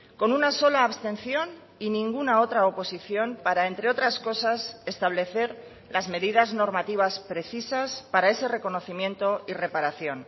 con una sola abstención y ninguna otra oposición para entre otras cosas establecer las medidas normativas precisas para ese reconocimiento y reparación